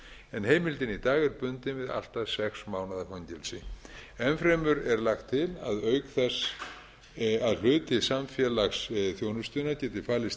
en heimildin í dag er bundin við allt að sex mánaða fangelsi ennfremur er lagt til að auk þess að hluti samfélagsþjónustunnar geti falist